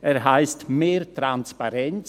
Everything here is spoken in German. Er heisst: «mehr Transparenz».